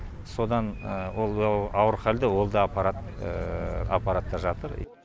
содан ол ауыр халде ол да апаратта жатыр